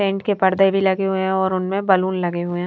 Tent के पर्दे भी लगे हुए हैं और उनमें बलून लगे हुए हैं।